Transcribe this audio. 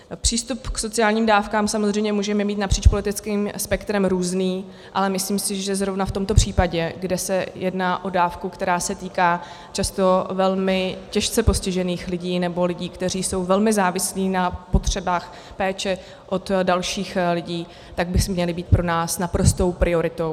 Přístup k sociálním dávkám samozřejmě můžeme mít napříč politickým spektrem různý, ale myslím si, že zrovna v tomto případě, kde se jedná o dávku, která se týká často velmi těžce postižených lidí nebo lidí, kteří jsou velmi závislí na potřebách péče od dalších lidí, tak by měla být pro nás naprostou prioritou.